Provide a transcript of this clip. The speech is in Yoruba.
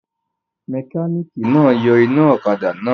Mẹkánìkì náà yọ iná ọ̀kadà náà